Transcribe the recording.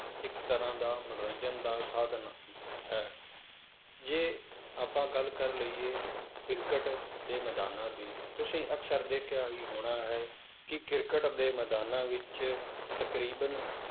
ਇੱਕ ਤਰ੍ਹਾਂ ਦਾ ਮਨੋਰੰਜਨ ਦਾ ਸਾਧਨ ਹੈ, ਜੇ ਆਪਾਂ ਗੱਲ ਕਰ ਲਈਏ ਕ੍ਰਿਕਟ ਦੇ ਮੈਦਾਨਾਂ ਦੀ ਤੁਸੀਂ ਅਕਸਰ ਦੇਖਿਆ ਹੀ ਹੋਣਾ ਹੈ ਕਿ ਕ੍ਰਿਕਟ ਦੇ ਮੈਦਾਨਾਂ ਵਿੱਚ ਤਕਰੀਬਨ